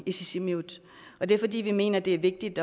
i sisimiut det er fordi vi mener det er vigtigt